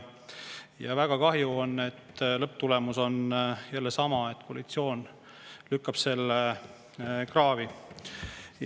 Ja väga kahju on, et lõpptulemus on jälle sama: koalitsioon lükkab selle kraavi.